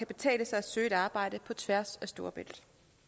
betale sig at søge et arbejde på tværs af storebælt